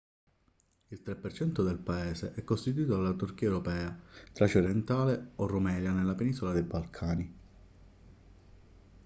il 3% del paese è costituito dalla turchia europea tracia orientale o rumelia nella penisola dei balcani